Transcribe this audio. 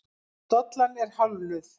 Dollan er hálfnuð.